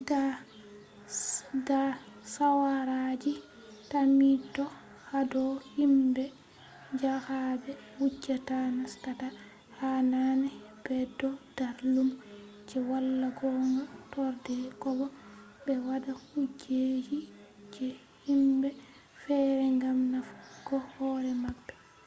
da shawaraji tammito hado himbe jahabe wujjata nastata ha hanai bedo dar lumo je wala gonga torde kobo be wada kujeji je himbe fere gam nafugo hore mabbe